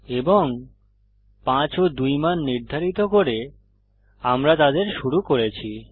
এবং 5 ও 2 মান নির্ধারিত করে আমরা তাদের শুরু করেছি